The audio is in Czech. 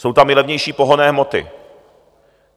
Jsou tam i levnější pohonné hmoty.